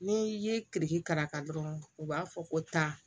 Ni i ye kirikiraka dɔrɔn u b'a fɔ ko taa